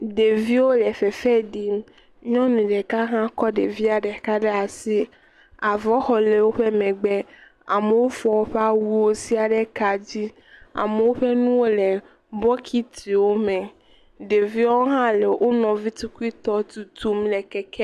Ɖeviwo le fefe ɖim. Nyɔnu ɖeka hã kɔ ɖevia ɖeka ɖe asi. Avɔxɔ le woƒe megbe. Amewo fɔ woƒe awuwo sia ɖe kadzi. Amewo ƒe nuwo le bokitiwome. Ɖeviwo hã le wo nɔvi tukuitɔwo tutum le keke.